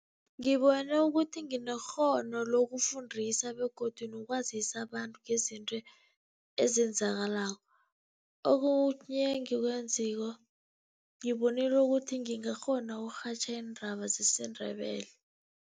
Ngibone ukuthi nginekghono lokufundisa begodu nokwazisa abantu ngezinto ezenzakalako. Okhunye engikwaziko, ngibonile ukuthi ngingakghona ukurhatjha iindaba zesiNdebele.